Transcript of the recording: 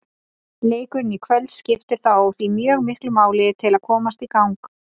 Leikurinn í kvöld skiptir þá því mjög miklu máli til að komast í gang.